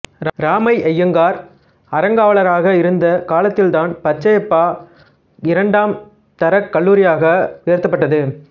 இராமையங்கார் அறங்காவலராக இருந்த காலத்தில்தான் பச்சையப்பா இரண்டாம் தரக் கல்லூரியாக உயர்த்தப்பட்டது